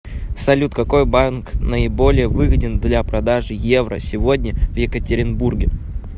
салют какой банк наиболее выгоден для продажи евро сегодня в екатеринбурге